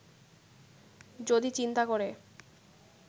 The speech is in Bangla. যদি চিন্তা করে